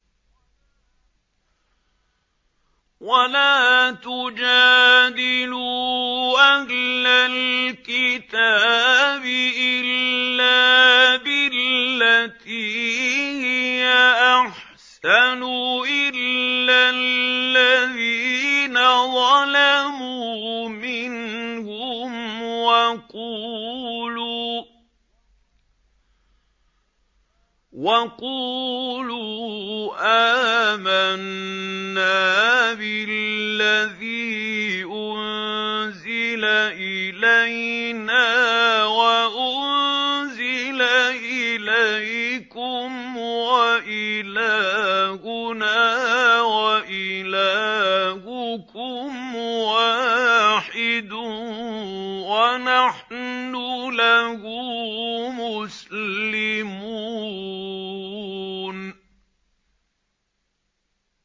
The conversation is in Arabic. ۞ وَلَا تُجَادِلُوا أَهْلَ الْكِتَابِ إِلَّا بِالَّتِي هِيَ أَحْسَنُ إِلَّا الَّذِينَ ظَلَمُوا مِنْهُمْ ۖ وَقُولُوا آمَنَّا بِالَّذِي أُنزِلَ إِلَيْنَا وَأُنزِلَ إِلَيْكُمْ وَإِلَٰهُنَا وَإِلَٰهُكُمْ وَاحِدٌ وَنَحْنُ لَهُ مُسْلِمُونَ